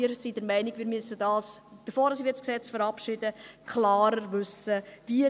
Wir sind der Meinung, dass wir dies, bevor wir dieses Gesetz verabschieden, klarer wissen müssen: